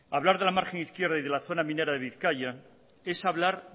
hablar de la margen izquierda y de la zona minera de bizkaia es hablar